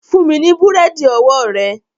Fún mi ní búrẹ́dì ọwọ́ rẹ